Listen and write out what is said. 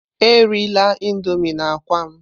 Erila indomii na akwa m!